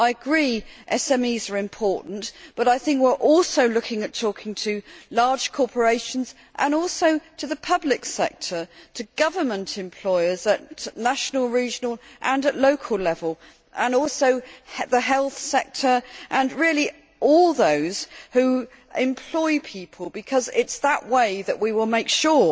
I agree that SMEs are important but I think we are also looking at talking to large corporations and also to the public sector, to government employers at national, regional and at local level, the health sector and really all those who employ people, because it is in that way that we will make sure